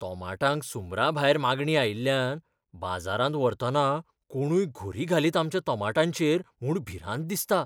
तोमाटांक सुमराभायर मागणी आयिल्ल्यान बाजारांत व्हरतना कोणूय घुरी घालीत आमच्या तोमाटांचेर म्हूण भिरांत दिसता.